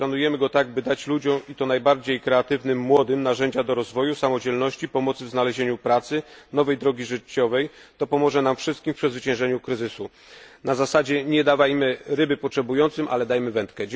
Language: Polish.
Jeśli planujemy go tak, by dać ludziom i to najbardziej kreatywnym, młodym narzędzia do rozwoju, samodzielności, pomocy w znalezieniu pracy, nowej drogi życiowej, to pomoże nam wszystkim w przezwyciężeniu kryzysu na zasadzie nie dawajmy potrzebującym ryby, lecz wędkę.